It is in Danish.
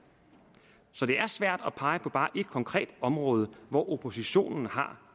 så det er svært at pege på bare ét konkret område hvor oppositionen har